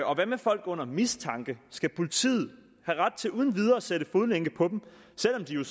og hvad med folk under mistanke skal politiet have ret til uden videre at sætte fodlænke på dem selv om de jo